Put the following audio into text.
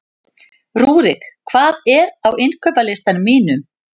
Rúrik, hvað er á innkaupalistanum mínum?